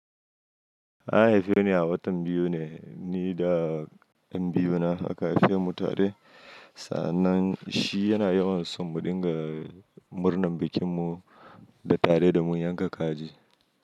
An haife ni a watan biyu ne, ni da ƴan biyu na aka haife mu tare. Sannan shi yana yawan so mu dinga murnan bikin mu da tare da mu yanka kaji.